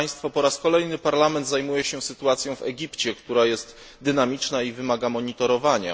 Po raz kolejny Parlament zajmuje się sytuacją w Egipcie, która jest dynamiczna i wymaga monitorowania.